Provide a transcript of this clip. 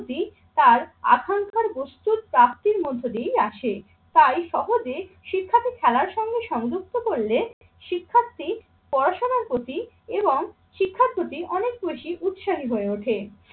তার আখাঙ্কার বস্তুর প্রাপ্তির মধ্য দিয়েই আসে। তাই সহজে শিক্ষাকে খেলার সঙ্গে সংযুক্ত করলে শিক্ষার্থী পড়াশোনার প্রতি এবং শিক্ষার প্রতি অনেক বেশি উৎসাহী হয়ে ওঠে।